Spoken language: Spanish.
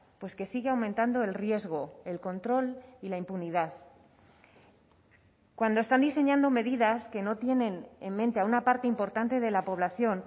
pues que sigue aumentando el riesgo el control y la impunidad cuando están diseñando medidas que no tienen en mente a una parte importante de la población